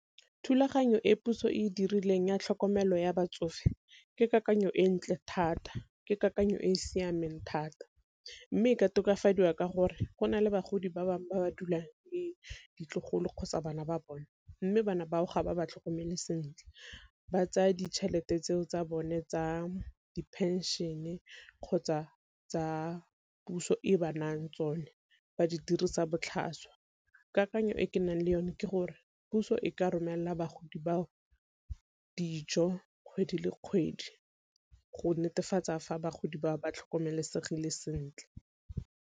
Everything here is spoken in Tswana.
Thulaganyo e puso e dirileng ya tlhokomelo ya batsofe ke kakanyo e ntle thata ke kakanyo e e siameng thata, mme ka tokafadiwa ka gore go na le bagodi ba bangwe ba ba dulang le ditlogolo kgotsa bana ba bone mme bana bao ga ba ba tlhokomele sentle ba tsaya ditšhelete tseo tsa bone tsa di-pension kgotsa tsa puso e ba nayang tsone ba di dirisa botlhaswa. Kakanyo e ke nang le yone ke gore puso e ka romelela bagodi ba dijo kgwedi le kgwedi go netefatsa fa bagodi ba ba tlhokomelesegile sentle.